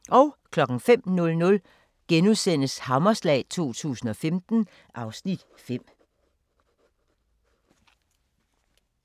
05:00: Hammerslag 2015 (Afs. 5)*